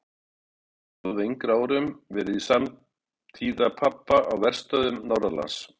Ásta hét hún og hafði á yngri árum verið samtíða pabba á verstöðvum norðanlands.